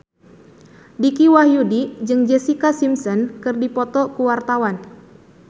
Dicky Wahyudi jeung Jessica Simpson keur dipoto ku wartawan